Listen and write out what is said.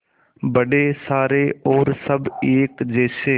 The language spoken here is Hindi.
बड़े सारे और सब एक जैसे